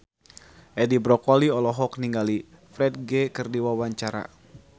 Edi Brokoli olohok ningali Ferdge keur diwawancara